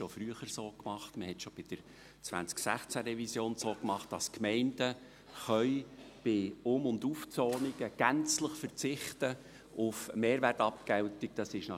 Man machte dies schon früher so, bei der Revision 2016, dass die Gemeinden bei Um- und Aufzonungen gänzlich auf Mehrwertabgeltung verzichten können.